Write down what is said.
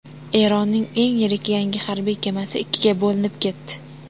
Eronning eng yirik yangi harbiy kemasi ikkiga bo‘linib ketdi.